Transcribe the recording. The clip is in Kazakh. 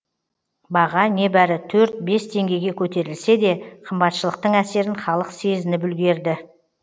баға небәрі төрт бес теңгеге көтерілсе де қымбатшылықтың әсерін халық сезініп үлгерді